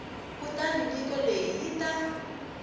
kutani nyiko leyi yi ta